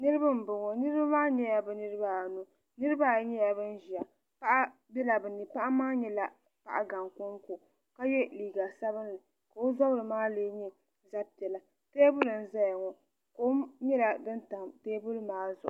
niriba n bɔŋɔ niriba maa nyɛla bɛ niribaanu niribaayi nyɛla ban ʒɛya paɣ' bɛla be ni paɣ' maa nyɛla paɣ' gaŋ ko n ko ka yɛ liga sabinli ka o zarimaa lɛɛ nyɛ zabipiɛlla tɛbuli n zaya ŋɔ kom nyɛla din tam tɛbuli maa zuɣ'